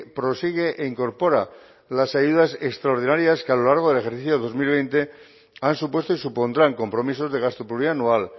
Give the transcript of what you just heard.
prosigue e incorpora las ayudas extraordinarias que a lo largo del ejercicio dos mil veinte han supuesto y supondrán compromisos de gasto plurianual